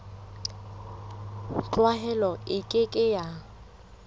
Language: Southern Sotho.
tlwaelo e ke ke ya